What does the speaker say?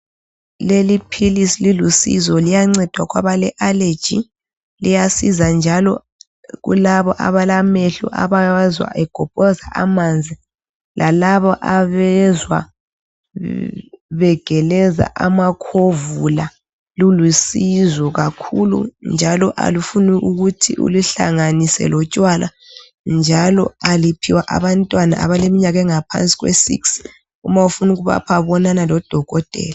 Leli philisi lilusizo liyanceda kwabale aleji liyasiza njalo kulabo abalamehlo abawezwa egobhoza amanzi lalabo abezwa begeleza amakhovula. Lulusizo kakhulu njalo alufuni kuthi uluhlanganise lotshwala njalo aliphiwa abantwana abaleminyaka engaphansi kwesix. Uma ufuna ukubapha bonana lodokotela.